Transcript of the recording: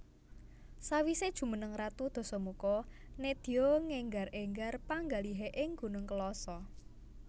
Sawisé jumeneng ratu Dasamuka nedya ngénggar énggar panggalihé ing Gunung Kelasa